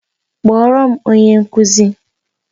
Kpọọrọ m onye nkụzi!